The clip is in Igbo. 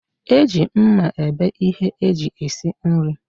Eji mma ebe ihe eji esi nri